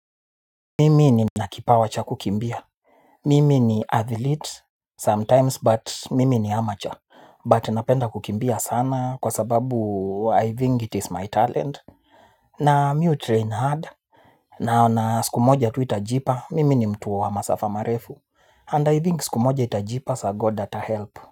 Mimi nina kipawa cha kukimbia. Mimi ni athlete sometimes but mimi ni amateur But napenda kukimbia sana kwa sababu I think it is my talent. Na mi hutrain hard. Na na siku moja tu itajipa mimi ni mtu wa masafa marefu and I think siku moja itajipa sir God atahelp.